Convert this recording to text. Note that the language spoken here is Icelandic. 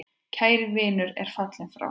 Kær vinur er fallin frá.